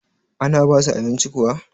ana basu abinci kuwa?